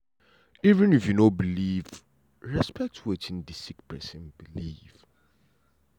even if you no believe respect wetin d sick pesin believe.